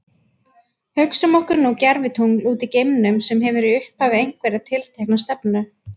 Hugsum okkur nú gervitungl úti í geimnum sem hefur í upphafi einhverja tiltekna stefnu.